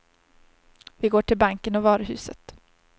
Vi går till banken och varuhuset.